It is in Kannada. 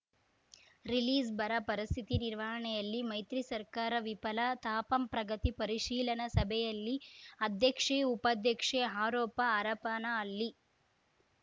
ರಿಲೀಸ್‌ಬರ ಪರಿಸ್ಥಿತಿ ನಿರ್ವಹಣೆಯಲ್ಲಿ ಮೈತ್ರಿ ಸರ್ಕಾರ ವಿಫಲ ತಾಪಂ ಪ್ರಗತಿ ಪರಿಶೀಲನಾ ಸಭೆಯಲ್ಲಿ ಅಧ್ಯಕ್ಷೆ ಉಪಾಧ್ಯಕ್ಷೆ ಆರೋಪ ಹರಪನಹಳ್ಳಿ